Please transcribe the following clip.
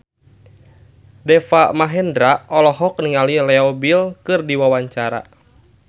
Deva Mahendra olohok ningali Leo Bill keur diwawancara